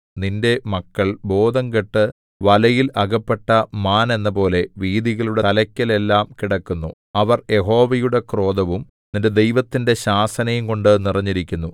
നിന്റെ മക്കൾ ബോധംകെട്ടു വലയിൽ അകപ്പെട്ട മാൻ എന്നപോലെ വീഥികളുടെ തലയ്ക്കലെല്ലാം കിടക്കുന്നു അവർ യഹോവയുടെ ക്രോധവും നിന്റെ ദൈവത്തിന്റെ ശാസനയുംകൊണ്ടു നിറഞ്ഞിരിക്കുന്നു